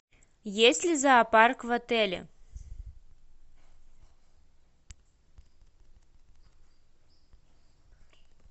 есть ли зоопарк в отеле